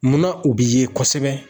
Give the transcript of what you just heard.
Munna u be ye kɔsɛbɛ